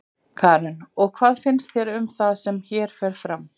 Karen: Og hvað finnst þér um það sem hér fer fram?